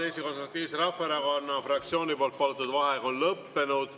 Eesti Konservatiivse Rahvaerakonna fraktsiooni palutud vaheaeg on lõppenud.